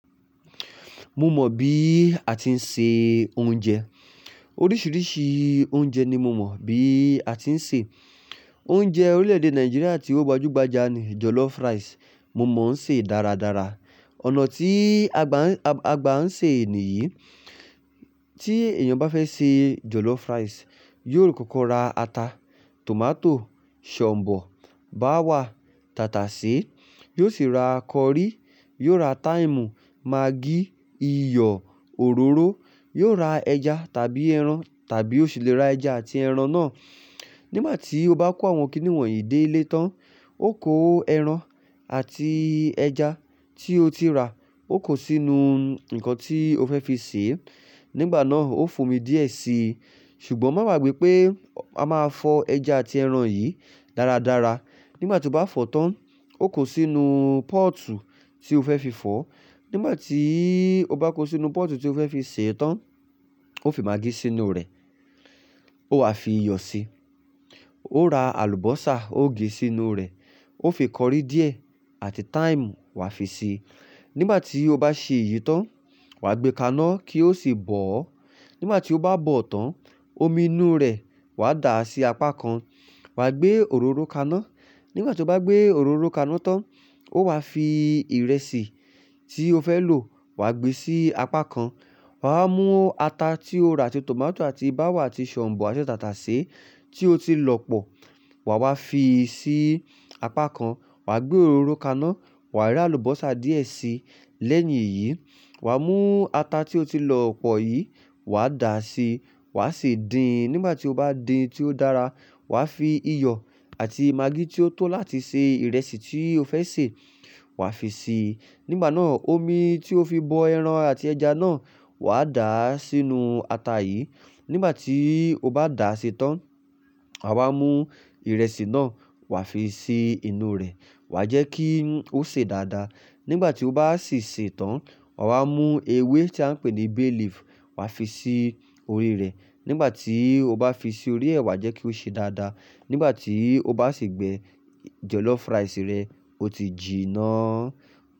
Mo mọ̀ bí a ti ń se oúnjẹ. Oríṣiríṣi oúnjẹ ni mo mọ̀ bí a ti ń sè. Oúnjẹ orílẹ̀-èdè Nàìjíríà tí ó gbajúgbajà ni jollof rice. Mo mọ̀ ń sè dáradára. Ọ̀nà tí àgbà ń agba n ṣe è nìyí, tí èèyàn bá fẹ́ ṣe jollof rice, yóò kọ́kọ́ ra ata, tòmátò, shombò, báwà, tàtàsé, yóò sì ra curry, yóò ra thyme, maggi, iyọ̀, òróró, yóò ra ẹja tàbí ẹran, tàbí ó sì le ra ẹja àti ẹran náà. Nígbà tí ó bá kó àwọn kìnì wọ̀nyí dé ilé tán, ó kó ẹran àti ẹja tí ó ti rà, ó kó sínú nǹkan tí ó fẹ́ fi sè é. Nígbà náà ó fomi díẹ̀ síi, ṣùgbọ́n máa gbàgbé pé a máa fọ ẹja àti ẹran yìí dáradára. Nígbà tí ó bá fọ̀ tán, ó kó sínú pọ́ọ̀tù tí ó fẹ́ fi fọ̀. Nígbà tí ó bá kó sínú pọ́ọ̀tù tí ó fẹ́ fi sè é tán, ó fi maggi sínú rẹ̀, ó wá fi iyọ̀ síi, ó ra àlùbọ́sà ó gèé sínú rẹ̀, ó fi curry díẹ̀ àti thyme wá fi si Nígbà tí ó bá ṣe èyí tán, wà gbé kaná kí ó sì bọ̀ ọ́. Nígbà tí ó bá bọ̀ tán, omi inú rẹ̀ wà dá sí apá kan, wà gbé òróró kaná. Nígbà tí ó bá gbé òróró kaná tán, ó wá fi ìrẹsì tí ó fẹ́ lò wà gbé sí apá kan. Wà á mú ata tí ó ra àti tòmátò àti báwà àti shombò àti tàtàsé tí ó ti lọ̀ pọ̀ wà wá fi sí apá kan. Wà gbé òróró kaná, wà rá àlùbọ́sà díẹ̀ sí i. Lẹ́yìn èyí, wà mú ata tí ó ti lọ̀ pọ̀ yìí wà dá síi, wà ṣe din. Nígbà tí ó bá din tí ó dára, wà fi iyọ̀ àti maggi tí ó tó láti ṣe ìrẹsì tí ó fẹ́ sè wà fi si i Nígbà náà omi tí ó fi bọ ẹran àti ẹja náà wà dá sínú ata yìí. Nígbà tí ó bá dà á ṣi tán, wàwa mú ìrẹsì náà wà fi si inú rẹ̀. Wà jẹ́ kí ó sè dáadáa. Nígbà tí ó bá sì sè tán, wàwa mú ewé tí à ń pè ní bay leaf wà fi sí orí rẹ̀. Nígbà tí ó bá fi sí orí ẹ̀, wà jẹ́ kí ó sè dáadáa. Nígbà tí ó bá sì gbẹ jollof rice rẹ, ó ti jìná.